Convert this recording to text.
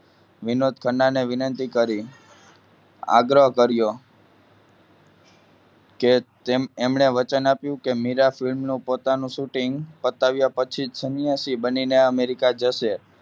વિનોદ ખન્ના અને વિનંતી કરી આગ્રહ કર્ય કે એમણે વચન આપ્યું કે મીરાબેન નું પોતાનું shooting પતાવ્યા પછી સન્યાસી બનીને America જશે.